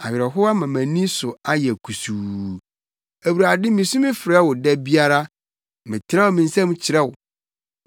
awerɛhow ama mʼani so ayɛ kusuu. Awurade misu frɛ wo da biara; metrɛw me nsam kyerɛ wo.